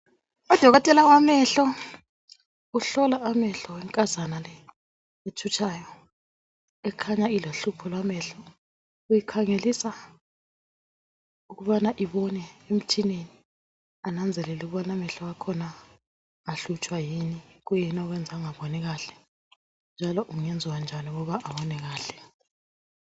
Udokotela wamehlo uhlola amehlo wenkazana le ethutshayo ekhanya ilohlupho lwamehlo uyikhangelisa ukubana ibone emtshineni ananzelele ukubana amehlo akhona ahlutshwa kuyini, kuyini okwenza angabonikahle njalo kungenziwa njani ukuba abone kahle.